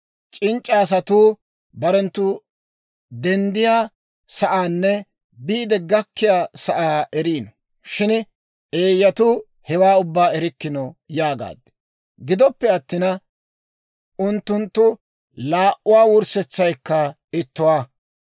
C'inc'c'a asatuu barenttu denddiyaa sa'aanne biide gakkiyaa sa'aa eriino; shin eeyyatuu hewaa ubbaa erikkino» yaagaad. Gidoppe attina, unttunttu laa"uwaa wurssetsaykka ittuwaa.